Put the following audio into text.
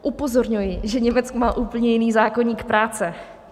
Upozorňuji, že Německo má úplně jiný zákoník práce.